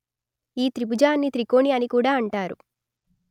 ఈ త్రిభుజాన్ని త్రికోణి అని కూడ అంటారు